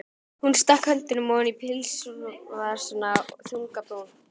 Hún stakk höndunum ofan í pilsvasana, þung á brún.